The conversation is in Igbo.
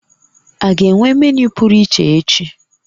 A ga-enwe menu pụrụ iche echi?